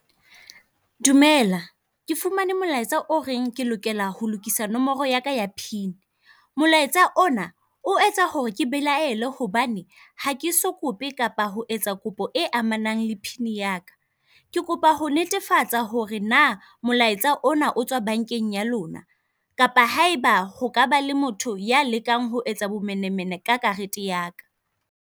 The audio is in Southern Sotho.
Dumela, ke fumane molaetsa o reng ke lokela ho lokisa nomoro yaka ya pin. Molaetsa ona o etsa hore ke belaele hobane ha ke so kope kapa ho etsa kopo e amanang le pin yaka. Ke kopa ho netefatsa hore na molaetsa ona o tswa bankeng ya lona, kapa haeba ho ka ba le motho ya lekang ho etsa bomenemene ka karete yaka.